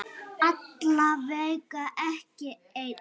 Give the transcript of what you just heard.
Alla vega ekki enn.